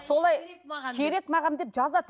солай керек маған деп жазады